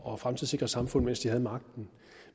og fremtidssikret samfund mens de havde magten